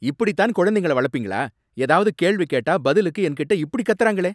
இப்படித்தான் குழந்தைங்கள வளப்பீங்களா? ஏதாவது கேள்வி கேட்டா பதிலுக்கு என்கிட்ட இப்படி கத்தறாங்களே?